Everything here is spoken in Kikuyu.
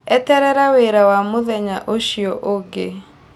Eterere wĩra wa mũthenya ũcio ũngĩ.